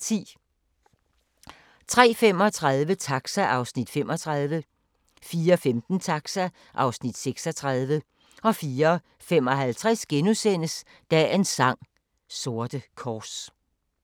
03:35: Taxa (Afs. 35) 04:15: Taxa (Afs. 36) 04:55: Dagens sang: Sorte kors *